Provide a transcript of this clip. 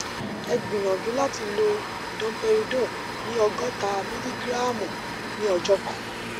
ẹ gbìyànjú láti lo domperidone ní ògọta mílígíráàmù ní ọjọ kan